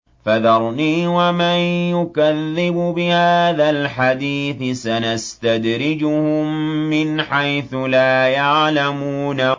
فَذَرْنِي وَمَن يُكَذِّبُ بِهَٰذَا الْحَدِيثِ ۖ سَنَسْتَدْرِجُهُم مِّنْ حَيْثُ لَا يَعْلَمُونَ